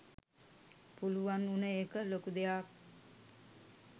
පුලුවන් වුන එක ලොකු දෙයක්